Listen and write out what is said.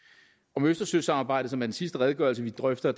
om østersøsamarbejdet som er den sidste redegørelse vi drøfter